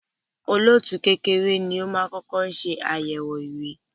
olóòtú kékeré ní o má kọkọ ṣe ayẹwo ìwé